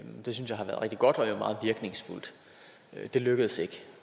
det synes jeg har været rigtig godt og meget virkningsfuldt det lykkedes ikke